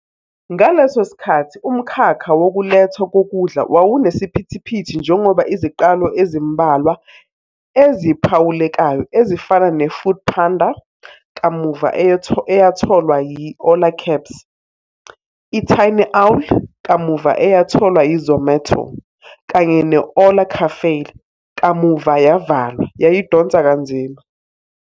Ngaleso sikhathi, umkhakha wokulethwa kokudla wawunesiphithiphithi njengoba iziqalo ezimbalwa eziphawulekayo, ezifana ne- Foodpanda, kamuva eyatholwa yi- Ola Cabs, i-TinyOwl, kamuva eyatholwa yi- Zomato, kanye ne-Ola Cafe, kamuva yavalwa, yayidonsa kanzima.